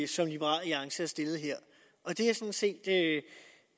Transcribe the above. som liberal alliance har stillet her det